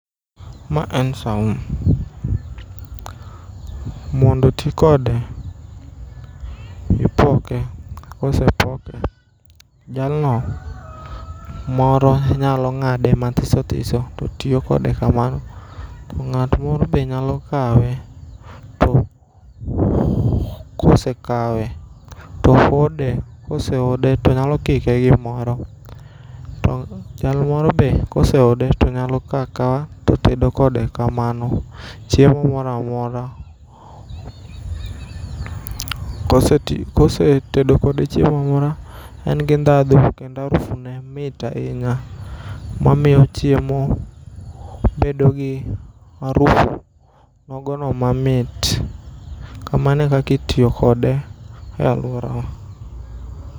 Ma en saumu. Mondo oti kode, ipoke. Ka osepoke, jalno moro nyalo ngáde mathiso thiso to tiyo kode kamano. Ngát moro be nyalo kawe, to kosekawe, to hode, kosehode to nyalo kike gi gimoro. To jalmoro be kosehode, to nyalo kao akawa to tedo kode kamano chiemo moro amora. Kosetedo kode chiemo en gi ndhadhu kendo harufu ne mit ahinya. Ma miyo chiemo bed gi harufu nogo no mamit. Kamano e kaka itiyo kode e alworawa.